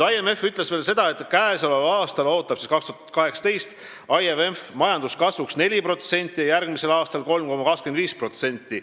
IMF ütles veel seda, et käesoleval aastal, st 2018, ootab IMF majanduskasvuks 4%, järgmisel aastal 3,25%.